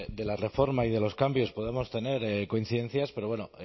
de la reforma y de los cambios podemos tener coincidencias pero bueno